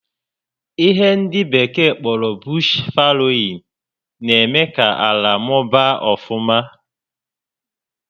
Ihe ndị bekee kpọrọ 'bush faloin' na-eme ka ala mụbaa ọfụma